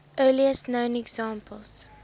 earliest known examples